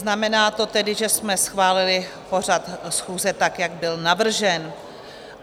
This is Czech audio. Znamená to tedy, že jsme schválili pořad schůze, tak jak byl navržen.